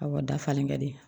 Awɔ dafalen ka di